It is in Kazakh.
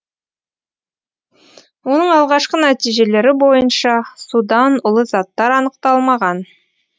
оның алғашқы нәтижелері бойынша судан улы заттар анықталмаған